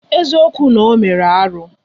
Eziokwu na ọ meru alụ?